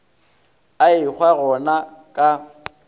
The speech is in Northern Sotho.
a ehwa go na ka